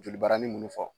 Joli barani munun fɔ